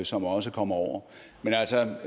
som også kommer over men altså